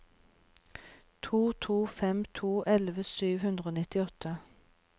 to to fem to elleve sju hundre og nittiåtte